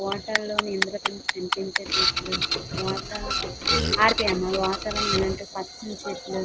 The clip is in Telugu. వాటర్ లోని ఇంద్రధనస్సు కనిపించేటట్లు వాతావరణం ఇలాంటి పచ్చని చెట్లు--